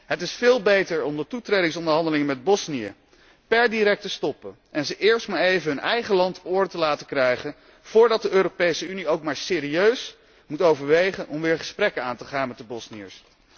Het is veel beter om de toetredingsonderhandelingen met Bosnië per direct te stoppen en hen eerst maar even hun eigen land op orde te laten krijgen, voordat de Europese Unie ook maar serieus moet overwegen om weer gesprekken aan te gaan met de Bosniërs.